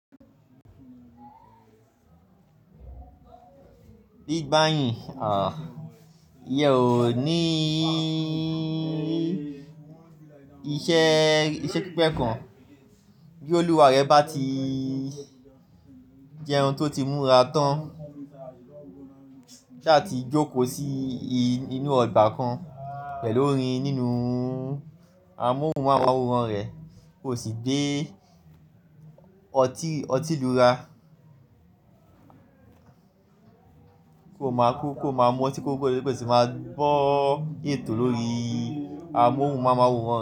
Bí gbàyìn, òh, ìyèn ó ní í ìṣe, ìṣe pípé kan bí olúwa rẹ bá ti jẹ ohun tó ti múra tán láti jókòó sí inú ọgbà kan pẹ̀lú orin nínú amóhùnmáwòrán rẹ̀ kò sì gbé ọtí, ọtí lura kò máa kú kò máa mọtí kò lè pẹ̀ tí máa gbọ́ ètò lórí amóhùnmáwòrán.